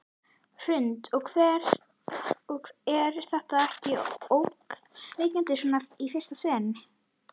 Hrund: Og er þetta ekkert ógnvekjandi svona í fyrsta sinn?